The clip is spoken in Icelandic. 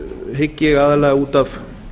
hygg ég aðallega út af